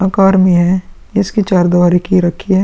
आकार में है। इसकी चार दीवारी की रखी है।